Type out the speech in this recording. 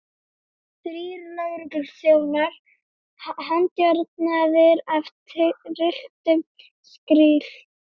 Þrír lögregluþjónar handjárnaðir af trylltum skríl.